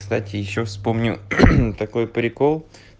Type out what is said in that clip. кстати ещё вспомню такой прикол